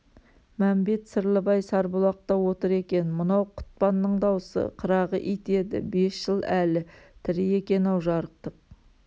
мәмбет-сырлыбай сарбұлақта отыр екен мынау құтпанның даусы қырағы ит еді бес жыл әлі тірі екен-ау жарықтық